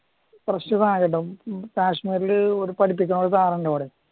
fresh സാധനം കിട്ടുംകാശ്മീരില് പഠിപ്പിക്കണ ഒരു സാറ് ഉണ്ടേ ഇവിടെ